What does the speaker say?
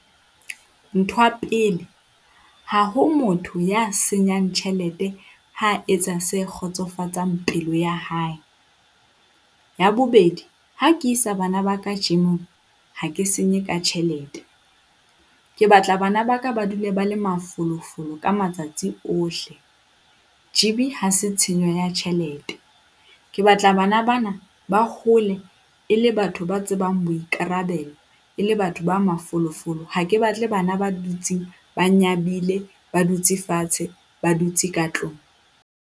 Ntho ya pele ha ho motho ya senyang tjhelete ha a etsa se kgotsofatsang pelo ya hae. Ya bobedi ha ke isa bana ba gym-ng ha ke senye ka tjhelete. Ke batla bana ba ka ba dule ba le mafolofolo ka matsatsi ohle. Gym ha se tshenyo ya tjhelete. Ke batla bana bana ba hole e le batho ba tsebang boikarabelo e le batho ba mafolofolo. Ha ke batle bana ba dutse ba , ba dutse fatshe ba dutse ka tlung.